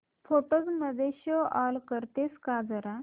photos मध्ये show off करतेस का जरा